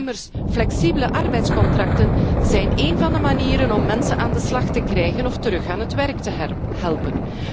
Immers, flexibele arbeidscontracten zijn één van de manieren om mensen aan de slag te krijgen of terug aan het werk te helpen.